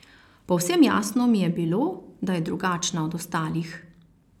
Povsem jasno mi je bilo, da je drugačna od ostalih.